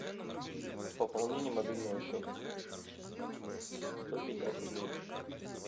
пополнение мобильного счета сто пятьдесят рублей